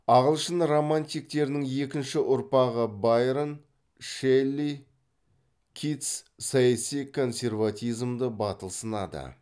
ағылшын романтиктерінің екінші ұрпағы байрон шелли китс саяси консерватизмді батыл сынады